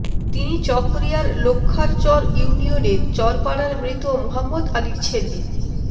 তিনি চকরিয়ার লক্ষ্যারচর ইউনিয়নের চরপাড়ার মৃত মোহাম্মদ আলীর ছেলে